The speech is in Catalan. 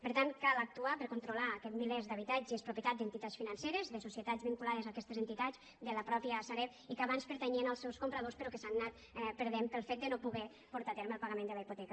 per tant cal actuar per a controlar aquests milers d’habitatges propietat d’entitats financeres de societats vinculades a aquestes entitats de la mateixa sareb i que abans pertanyien als seus compradors però que s’han anat perdent pel fet de no poder portar a terme el pagament de la hipoteca